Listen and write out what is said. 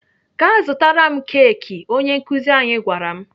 "Gaa zụtara m keki!" Onye nkuzi anyị gwara m.